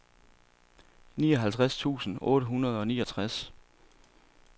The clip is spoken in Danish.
nioghalvtreds tusind otte hundrede og niogtres